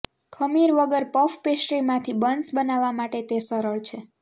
ખમીર વગર પફ પેસ્ટ્રીમાંથી બન્સ બનાવવા માટે તે સરળ છે